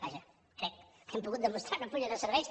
vaja crec que hem pogut demostrar una fulla de serveis